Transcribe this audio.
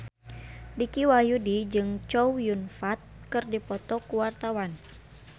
Dicky Wahyudi jeung Chow Yun Fat keur dipoto ku wartawan